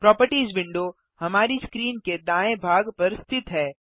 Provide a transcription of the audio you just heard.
properties window हमारी screen के दाएँ भाग पर स्थित है